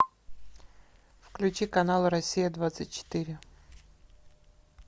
включи канал россия двадцать четыре